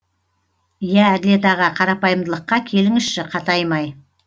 иә әділет аға қарапайымдылыққа келіңізші қатаймай